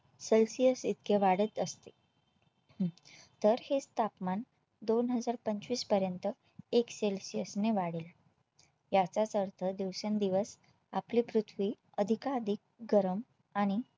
celcius इतके वाढत असते हम्म तर हेच तापमान दोन हजार पंचवीस पर्यंत एक celsius ने वाढेल याचाच अर्थ दिवसेंदिवस आपली पृथ्वी अधिकाधिक गरम आणि